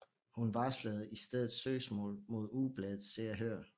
Hun varslede i stedet søgsmål mod ugebladet Se og Hør